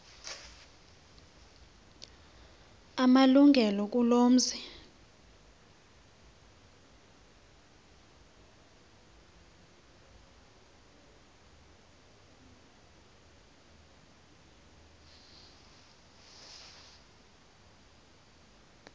amalungelo kuloo mzi